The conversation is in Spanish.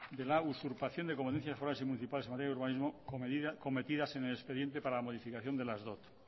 de la usurpación de competencias forales y municipales en la materia de urbanismo cometidas en el expediente para la modificación de las dot